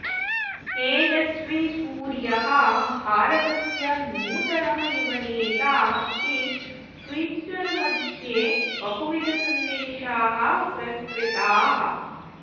तेजस्वी सूर्यः भारतस्य नूतनः युवनेता इति ट्विट्टर् मध्ये बहुविधसन्देशाः प्रसृताः